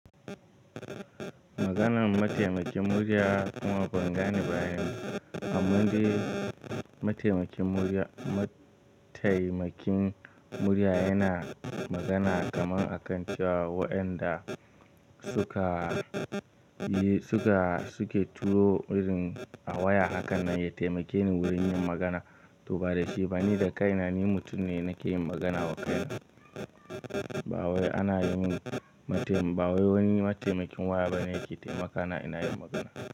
Maganan mataimakin murya kuma bangane bayanin. Amman dai mataimakin murya, mataimakin murya yana magana kaman a kan cewa wayanda suka yi, suka, suke turo irin a waya hakan nan ya taimake ni wurin yin magana. To ba da shi ba ni da kai na ni mutum ne nake yin magana wa kaina. Ba wai ana yi min mataim, ba wani mataimakin waya ba ne yake taimaka na ina yin magana.